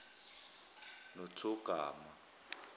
nothogarma